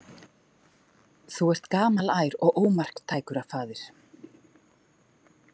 Þú ert gamalær og ómarktækur, faðir.